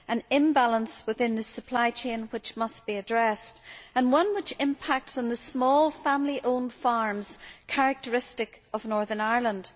This is an imbalance within the supply chain which must be addressed, and which impacts on the small family owned farms characteristic of Northern Ireland.